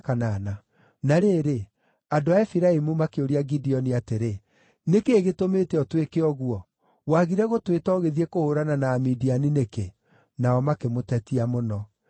Na rĩrĩ, andũ a Efiraimu makĩũria Gideoni atĩrĩ, “Nĩ kĩĩ gĩtũmĩte ũtwĩke ũguo? Wagire gũtwĩta ũgĩthiĩ kũhũũrana na Amidiani nĩkĩ?” Nao makĩmũtetia mũno.